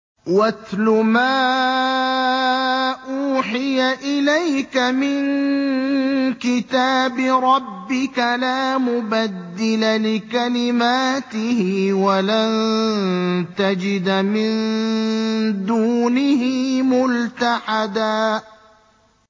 وَاتْلُ مَا أُوحِيَ إِلَيْكَ مِن كِتَابِ رَبِّكَ ۖ لَا مُبَدِّلَ لِكَلِمَاتِهِ وَلَن تَجِدَ مِن دُونِهِ مُلْتَحَدًا